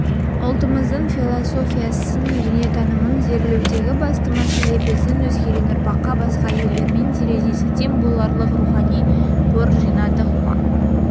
ұлтымыздың философиясын дүниетанымын зерделеудегі басты мәселе біздің өскелең ұрпаққа басқа елдермен терезесі тең боларлық рухани қор жинадық па